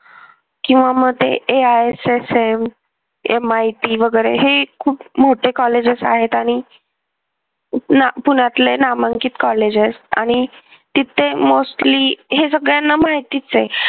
किंवा मग ते AISSMMIT वगैरे हे खूप मोठे कॉलेजेस आहेत आणि पुण्यातले नामांकित कॉलेज आहेत आणि तिथे mostly हे सगळ्यांना माहितीच आहे.